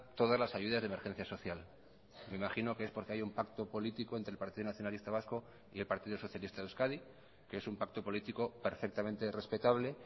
todas las ayudas de emergencia social me imagino que es porque hay un pacto político entre el partido nacionalista vasco y el partido socialista de euskadi que es un pacto político perfectamente respetable